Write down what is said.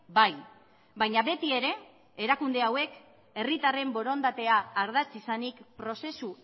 bai baina beti ere erakunde hauek herritarren borondatea ardatz izanik prozesu